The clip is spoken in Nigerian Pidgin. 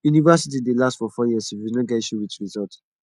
university dey last for four years if you no get issue with resullt